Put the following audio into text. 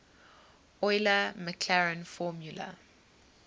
euler maclaurin formula